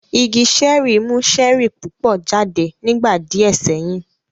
Igi ṣẹ́ẹ̀rì mú ṣẹ́ẹ̀rì púpọ̀ jáde nígbà díẹ̀ sẹ́yìn